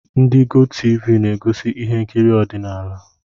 Ndị gotivi na-egosi ihe nkiri ọdịnala